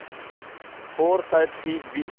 और शायद ठीक भी